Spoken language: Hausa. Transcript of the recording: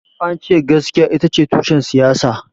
Ance askiya itace tushen siyasa